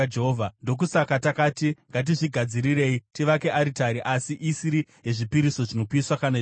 “Ndokusaka takati, ‘Ngatizvigadzirirei tivake aritari, asi isiri yezvipiriso zvinopiswa kana yezvibayiro.’